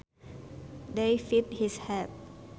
They fitted his hat